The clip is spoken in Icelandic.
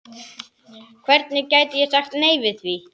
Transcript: Hvernig gæti ég sagt nei við því?